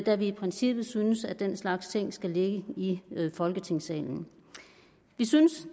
da vi i princippet synes at den slags ting skal ligge i folketingssalen vi synes